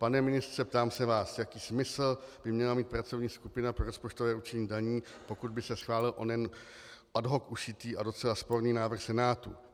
Pane ministře, ptám se vás, jaký smysl by měla mít pracovní skupina pro rozpočtové určení daní, pokud by se schválil onen ad hoc ušitý a docela sporný návrh Senátu.